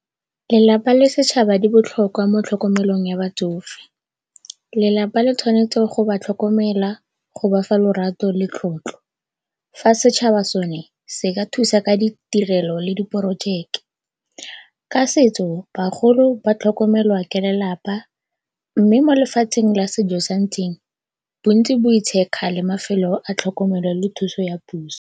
Lelapa le setšhaba di botlhokwa mo tlhokomelong ya batsofe. Lelapa le tshwanetse go ba tlhokomela, go bafa lorato le tlotlo fa setšhaba sone se ka thusa ka ditirelo le diporojeke. Ka setso bagolo ba tlhokomelwa ke lelapa mme mo lefatsheng la sejo sa ntseng bontsi bo kgale mafelo a tlhokomelo le thuso ya puso.